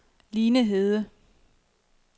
Line Hede